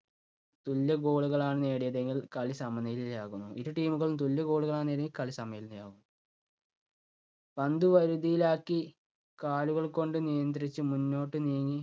തുല്യ goal കളാണ് നേടിയതെങ്കിൽ കളി സമനിലയിലാകുന്നു. ഇരു team കളും തുല്യ goal കളാണ് നേടിയതെങ്കിൽ കളി സമനിലയിലാകും. പന്ത് വരുതിയിലാക്കി കാലുകൾ കൊണ്ട് നിയന്ത്രിച്ച് മുന്നോട്ട് നീങ്ങി